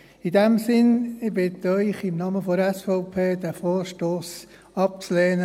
In diesem Sinne: Ich bitte Sie im Namen der SVP, diesen Vorstoss abzulehnen.